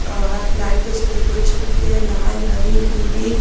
light से decoration किया है लाल हरि पीली--